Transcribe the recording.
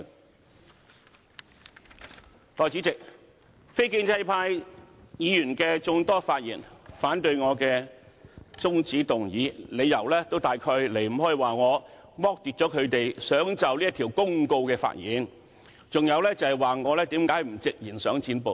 代理主席，眾多非建制派議員發言，反對我的中止待續議案，理由大都離不開說我剝奪他們就《公告》發言的權利，還有就是說我何不直言想"剪布"。